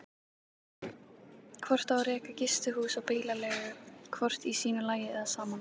Hvort á að reka gistihús og bílaleigu hvort í sínu lagi eða saman?